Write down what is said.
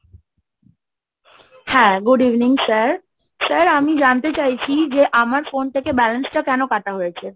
হ্যাঁ, Good evening sir, sir আমি জানতে চাইছি যে আমার phone থেকে balance টা কেন কাটা হয়েছে?